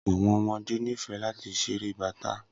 Awọn ọmọde nifẹ lati ṣere Bata